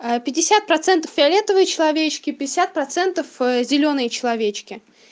пятьдесят процентов фиолетовые человечки пятьдесят процентов зелёные человечки